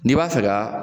N'i b'a fɛ ka